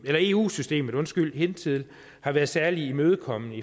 eu systemet hidtil har været særlig imødekommende